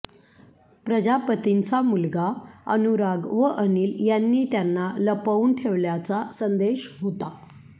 प्रजापतींचा मुलगा अनुराग व अनिल यांनी त्यांना लपवून ठेवल्याचा संदेश होता